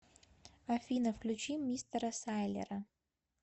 афина включи мистера сайлера